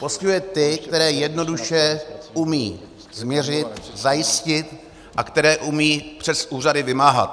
Postihuje ty, které jednoduše umí změřit, zajistit a které umí přes úřady vymáhat.